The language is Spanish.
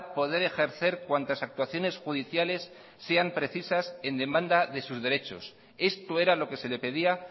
poder ejercer cuantas actuaciones judiciales sean precisas en demanda de sus derechos esto era lo que se le pedía